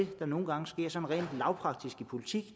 der nogle gange sker sådan rent lavpraktisk i politik